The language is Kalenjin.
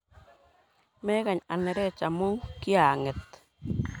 Mekany anerech amu kiyang'et.